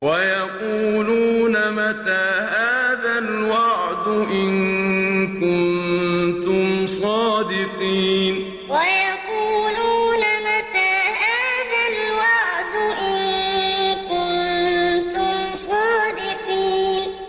وَيَقُولُونَ مَتَىٰ هَٰذَا الْوَعْدُ إِن كُنتُمْ صَادِقِينَ وَيَقُولُونَ مَتَىٰ هَٰذَا الْوَعْدُ إِن كُنتُمْ صَادِقِينَ